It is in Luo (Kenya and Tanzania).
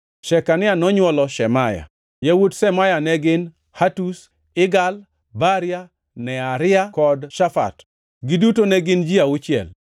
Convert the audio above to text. Shekania nonywolo Shemaya: Yawuot Shemaya ne gin: Hatush, Igal, Baria, Nearia kod Shafat. Giduto ne gin ji auchiel.